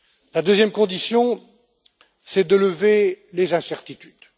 La deuxième condition, c'est de lever les incertitudes.